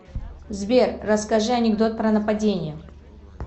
сбер расскажи анекдот про нападение